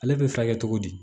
Ale bɛ furakɛ cogo di